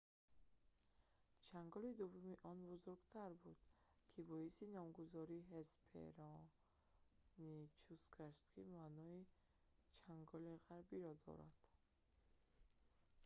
чанголи дуввуми он бузургтар буд ки боиси номгузории ҳеспероничус гашт ки маънои чанголи ғарбӣ"‑ро дорад